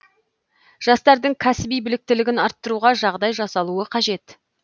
жастардың кәсіби біліктілігін арттыруға жағдай жасалуы қажет